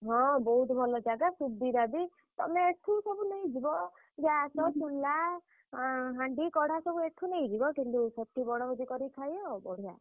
ହଁ ବହୁତ୍ ଭଲ ଜାଗା ସୁବିଧା ବି। ତମେ ଏଠୁ ସବୁ ନେଇଯିବ। gas ଚୁଲା ଆଁ ହାଣ୍ଡି କଢା ସବୁ ଏଠୁ ନେଇଯିବ କିନ୍ତୁ ସେଠି ବଣଭୋଜି କରି ଖାଇବ ବଢିଆ।